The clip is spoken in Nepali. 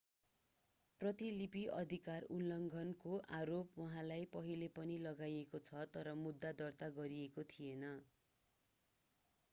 प्रतिलिपि अधिकार उल्लङ्घनको आरोप उहाँलाई पहिले पनि लगाइएको छ तर मुद्दा दर्ता गरिएको थिएन